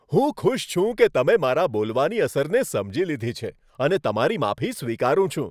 હું ખુશ છું કે તમે મારા બોલવાની અસરને સમજી લીધી છે અને તમારી માફી સ્વીકારું છું.